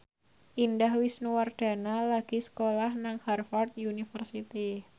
Indah Wisnuwardana lagi sekolah nang Harvard university